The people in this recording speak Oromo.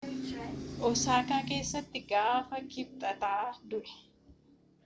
osaakaa keessatti gaafa kibxataa du'e